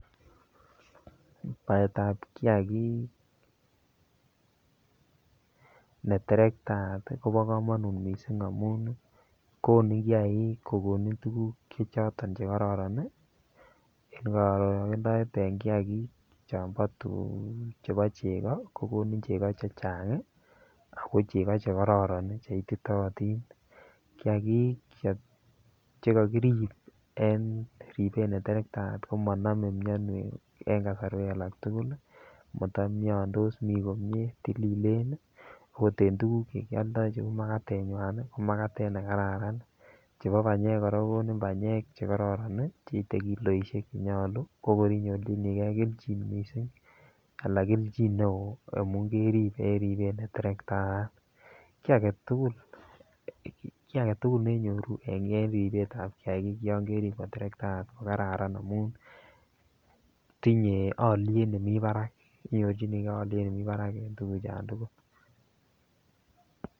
Baetab kiagik neterektaat kobo kamanut mising amun kono kiagik kokonin tuguk choton che kororon en korogendoet en kiagik chebo chego kogonin chego chechang ago chego che kororon ago che ititootin. Kiagik che kakirip en ribet neterektaat, komanome mianwek en kasarwek alak tugul. Matamiandos mi komie tililen agot en tuguk cheu magatenywan, ko magatet nekararan. Chebo banyek kora kogonin banyek chekororon cheite kiloisiek che nyalu. Kokor inyorchinige keljin mising anan kelchin neo amun kerip en ribet ne terektaat. Kiy agetul ne nyoru en ribetab kiagik yon kerip koterektaat ko kararan amun tinye alyet nemi barak. Iyochinige alyet nemi barak en tuguchon tugul.